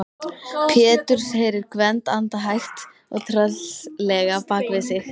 Péturs, heyrir Gvend anda hægt og tröllslega bak við sig.